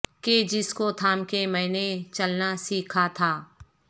کہ جس کو تھام کے میں نے چلنا سیکھا تھا